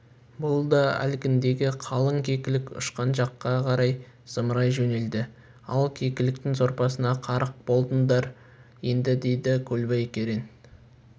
бұл да әлгіндегі қалың кекілік ұшқан жаққа қарай зымырай жөнелді ал кекіліктің сорпасына қарық болдыңдар енді деді көлбай керең